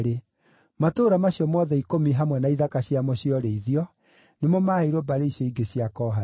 Matũũra macio mothe ikũmi hamwe na ithaka ciamo cia ũrĩithio nĩmo maheirwo mbarĩ icio ingĩ cia Kohathu.